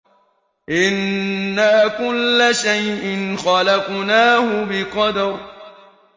إِنَّا كُلَّ شَيْءٍ خَلَقْنَاهُ بِقَدَرٍ